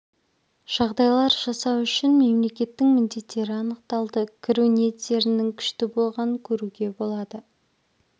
жағдайлар жасау үшін мемлекеттің міндетері анықталды кіру ниеттерінің күшті болғанын көруге болады